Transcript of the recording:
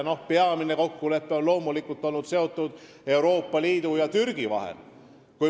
Peamine kokkulepe on loomulikult seotud Euroopa Liidu ja Türgiga.